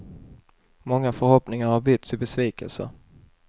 Många förhoppningar har bytts i besvikelser.